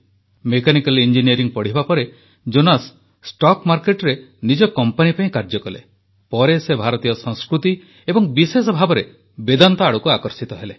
mechanical engineering ପଢ଼ିବା ପରେ Jonas stock ମାର୍କେଟରେ ନିଜ କମ୍ପାନୀ ପାଇଁ କାର୍ଯ୍ୟ କଲେ ପରେ ସେ ଭାରତୀୟ ସଂସ୍କୃତି ଏବଂ ବିଶେଷ ଭାବରେ ବେଦାନ୍ତ ଆଡକୁ ଆକର୍ଷିତ ହେଲେ